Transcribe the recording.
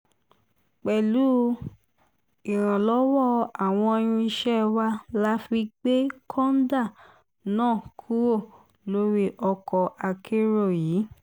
pẹ̀lú ìrànlọ́wọ́ àwọn irinṣẹ́ wa la fi gbé kọ́ńdà náà kúrò lórí ọkọ̀ akérò yìí